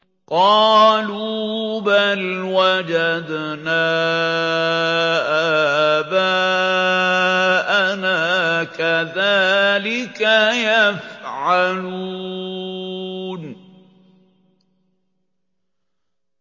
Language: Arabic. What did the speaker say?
قَالُوا بَلْ وَجَدْنَا آبَاءَنَا كَذَٰلِكَ يَفْعَلُونَ